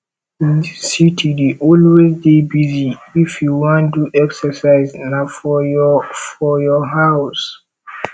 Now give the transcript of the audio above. dis city dey always dey busy if you wan do exercise na for your for your house